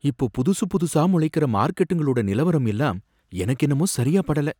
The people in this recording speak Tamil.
இப்ப புதுசு புதுசா முளைக்கற மார்க்கெட்டுங்களோட நிலவரம் எல்லாம் எனக்கென்னவோ சரியா படல